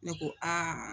Ne ko aa